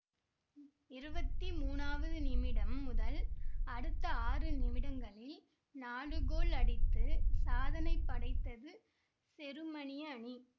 இருபத்தி மூனாவது நிமிடம் முதல் அடுத்த ஆறு நிமிடங்களில் நாலு கோல் அடித்து சாதனை படைத்தது செருமனிய அணி